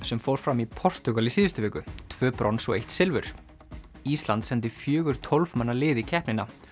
sem fór fram í Portúgal í síðustu viku tvö brons og eitt silfur ísland sendi fjögur tólf manna lið í keppnina